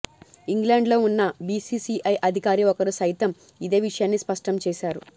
England లో ఉన్న BCCI అధికారి ఒకరు సైతం ఇదే విషయాన్ని స్పష్టం చేశారు